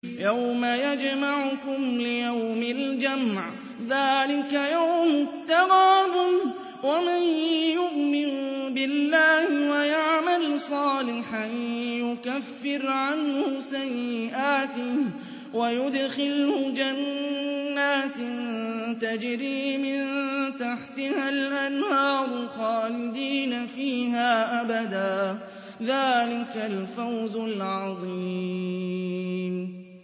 يَوْمَ يَجْمَعُكُمْ لِيَوْمِ الْجَمْعِ ۖ ذَٰلِكَ يَوْمُ التَّغَابُنِ ۗ وَمَن يُؤْمِن بِاللَّهِ وَيَعْمَلْ صَالِحًا يُكَفِّرْ عَنْهُ سَيِّئَاتِهِ وَيُدْخِلْهُ جَنَّاتٍ تَجْرِي مِن تَحْتِهَا الْأَنْهَارُ خَالِدِينَ فِيهَا أَبَدًا ۚ ذَٰلِكَ الْفَوْزُ الْعَظِيمُ